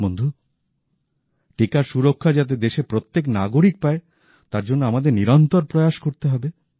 বন্ধু টিকার সুরক্ষা যাতে দেশের প্রত্যেক নাগরিক পায় তার জন্য আমাদের নিরন্তর প্রয়াস করতে হবে